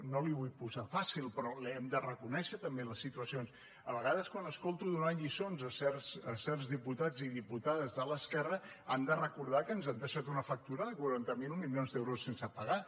no li ho vull posar fàcil però hem de reconèixer també les situacions a vegades quan l’escolto donant lliçons a certs diputats i diputades de l’esquerra han de recordar que ens han deixat una fac·tura de quaranta miler milions d’euros sense pagar